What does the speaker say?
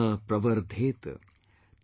Punah Pravardheta,